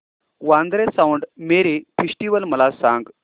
Vandre Mount Mary festival मला सांग